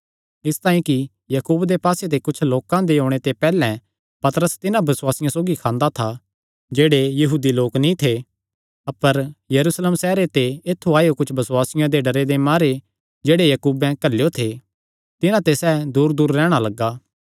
इसतांई कि याकूब दे पास्से ते कुच्छ लोकां दे ओणे ते पैहल्ले पतरस तिन्हां बसुआसियां सौगी खांदा था जेह्ड़े यहूदी लोक नीं थे अपर यरूशलेम सैहरे ते ऐत्थु आएयो कुच्छ बसुआसियां दे डरे दे मारे जेह्ड़े याकूबें घल्लेयो थे तिन्हां ते सैह़ दूरदूर रैहणा लग्गा